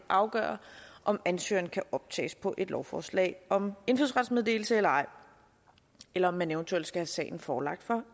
afgøre om ansøgeren kan optages på et lovforslag om indfødsretsmeddelelse eller ej eller om man eventuelt skal have sagen forelagt